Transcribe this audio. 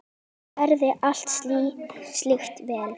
Hún gerði allt slíkt vel.